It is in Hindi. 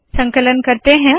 संकलन करते है